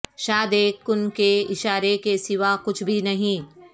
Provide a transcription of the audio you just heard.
شاد اک کن کے اشارے کے سوا کچھ بھی نہیں